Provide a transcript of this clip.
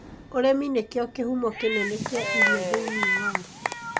Ũrĩmi nĩkĩo kĩhumo kĩnene kĩa irio thĩinĩ wa thĩ.